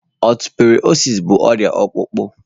Ọsteọprọsịs bụ ọrịa ọkpụkpụ